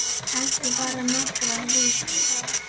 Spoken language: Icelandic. Kannski bara nokkrar vikur.